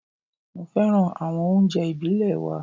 Mo féràn àwọn oúnjẹ ìbílè wa.